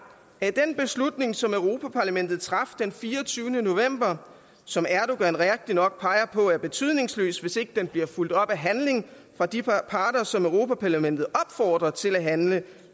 at den beslutning som europa parlamentet traf den fireogtyvende november som erdogan rigtigt nok peger på er betydningsløs hvis ikke den bliver fulgt op af handling af de parter som europa parlamentet opfordrer til at handle